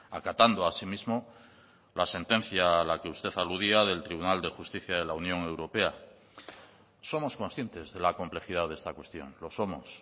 acatando así mismo la sentencia a la que usted aludía del tribunal de justicia de la unión europea somos conscientes de la complejidad de esta cuestión lo somos